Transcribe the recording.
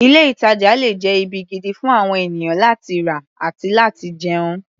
Ilé-ìtàjà le jẹ́ ibi gidi fún àwon ènìyàn láti rà àti láti jẹun.